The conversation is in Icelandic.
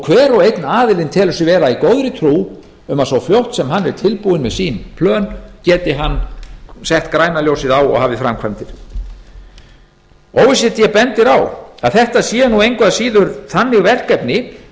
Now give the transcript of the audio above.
hver og einn aðilinn telur sig vera í góðri trú að svo fljótt sem hann er tilbúinn með sín plön geti hann sett græna ljósið á og hafið framkvæmdir o e c d bendir á að þetta séu nú engu að síður þannig verkefni